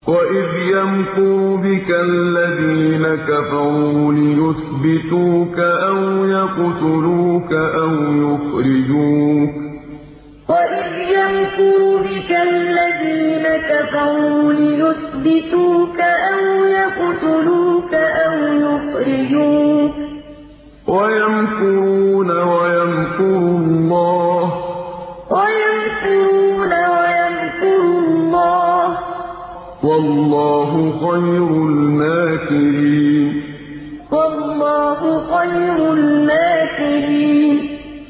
وَإِذْ يَمْكُرُ بِكَ الَّذِينَ كَفَرُوا لِيُثْبِتُوكَ أَوْ يَقْتُلُوكَ أَوْ يُخْرِجُوكَ ۚ وَيَمْكُرُونَ وَيَمْكُرُ اللَّهُ ۖ وَاللَّهُ خَيْرُ الْمَاكِرِينَ وَإِذْ يَمْكُرُ بِكَ الَّذِينَ كَفَرُوا لِيُثْبِتُوكَ أَوْ يَقْتُلُوكَ أَوْ يُخْرِجُوكَ ۚ وَيَمْكُرُونَ وَيَمْكُرُ اللَّهُ ۖ وَاللَّهُ خَيْرُ الْمَاكِرِينَ